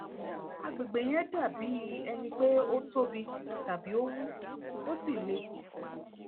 agbègbè yẹn dàbí ẹni pé ó tóbi tàbí ó wú ó sì le